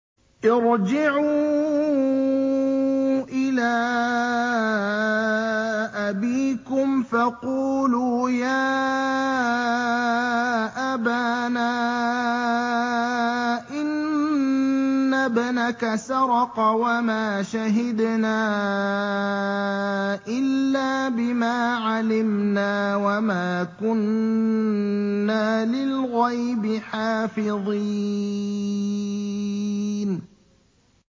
ارْجِعُوا إِلَىٰ أَبِيكُمْ فَقُولُوا يَا أَبَانَا إِنَّ ابْنَكَ سَرَقَ وَمَا شَهِدْنَا إِلَّا بِمَا عَلِمْنَا وَمَا كُنَّا لِلْغَيْبِ حَافِظِينَ